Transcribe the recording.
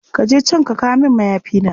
Ka je can ka kawo min mayafina.